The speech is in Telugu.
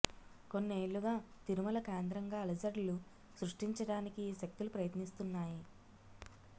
కొన్నేళ్లుగా తిరుమల కేంద్రంగా అలజడులు సృష్టించటానికి ఈ శక్తులు ప్రయత్నిస్తున్నాయి